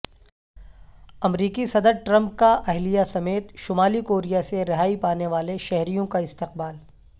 امریکی صدر ٹرمپ کا اہلیہ سمیت شمالی کوریا سے رہائی پانے والے شہریوں کا استقبال